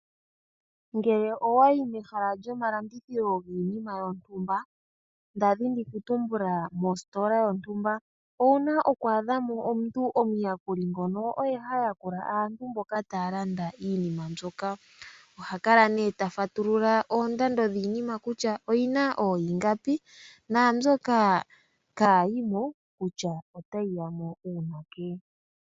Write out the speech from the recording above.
Ngele owayi mehala lyomalandithilo giinima yontumba nda dhini okutumbula mositola yontumba owuna oku adha mo omuntu omuyakuli ngono oye ha yakula aantu mboka taya landa iinima mbyoka. Oha kala nee ta fatulula oondando dhiinima kutya oyi na ooyingapi naambyoka kaayi mo kutya otayi ya mo uunake.